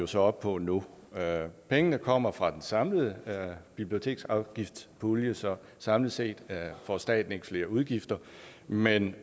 så op på nu pengene kommer fra den samlede biblioteksafgiftspulje så samlet set får staten ikke flere udgifter men